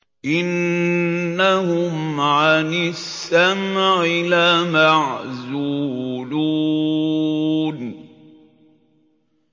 إِنَّهُمْ عَنِ السَّمْعِ لَمَعْزُولُونَ